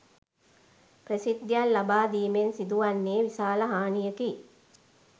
ප්‍රසිද්ධියක් ලබාදීමෙන් සිදුවන්නේ විශාල හානියකි